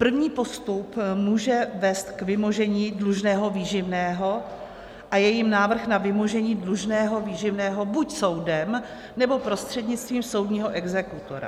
První postup může vést k vymožení dlužného výživného a je jím návrh na vymožení dlužného výživného buď soudem, nebo prostřednictvím soudního exekutora.